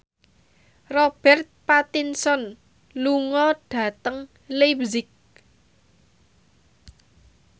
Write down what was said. Robert Pattinson lunga dhateng leipzig